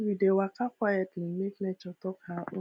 we dey waka quietly make nature talk her own